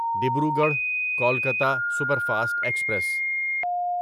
Dibrugarh Kolkata superfast express